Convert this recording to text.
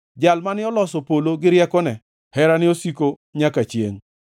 Jal mane oloso polo gi riekone, Herane osiko nyaka chiengʼ.